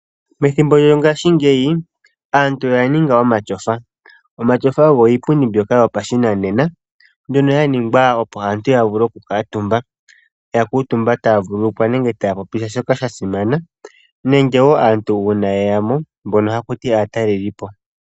Methimbo lyo ngaashingeyi aantu oya ninga omatyofa. Omatyofa ogo iipundi mbyoka yopa shi nanena mbyono ya ningwa opo aantu ya vule oku kuuumba. Ya kuutumba taya vululukwa nenge taya popile po shoka sha simana, nenge wo aantu uuna yeyamo mbono haku tiwa aatalelipo.